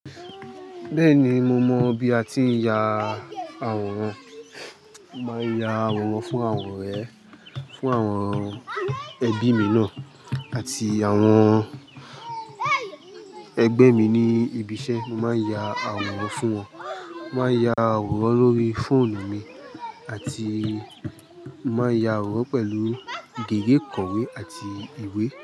Bẹ́ẹ̀ni, mo mọ bí a ti ń ya àwòrán. Mo máa ń ya àwòrán fún àwọn ọ̀rẹ́, fún àwọn ẹbí mi náà àti àwọn ẹgbẹ́ mi ní ibi iṣẹ́. Mo máa ń ya àwòrán fún wọn. Mo máa ń ya àwòrán lórí fóònù mi àti mo máa ń ya àwòrán pẹ̀lú girié kọ̀wé àti ìwé.